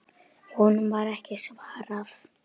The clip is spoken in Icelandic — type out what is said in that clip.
Honum var ekki svarað.